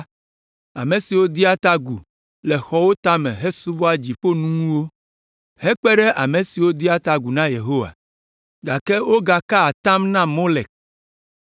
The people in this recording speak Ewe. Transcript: ame siwo dea ta agu le xɔwo tame hesubɔa dziƒoŋunuwo, hekpe ɖe ame siwo dea ta agu na Yehowa, gake wogakaa atam na Molek,